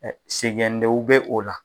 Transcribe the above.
Ɛ sɛgɛn denw bɛ o la.